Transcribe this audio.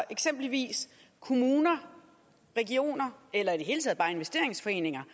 eksempelvis kommuner og regioner eller i det hele taget bare investeringsforeninger